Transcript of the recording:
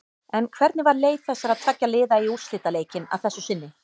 En hvernig var leið þessara tveggja liða í úrslitaleikinn að þessu sinni?